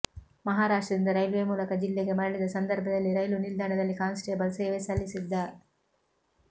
ಮಹಾರಾಷ್ಟ್ರದಿಂದ railway ಮೂಲಕ ಜಿಲ್ಲೆಗೆ ಮರಳಿದ ಸಂದರ್ಭದಲ್ಲಿ ರೈಲು ನಿಲ್ದಾಣದಲ್ಲಿ ಕಾನ್ಸಟೇಬಲ್ ಸೇವೆ ಸಲ್ಲಿಸಿದ್ದ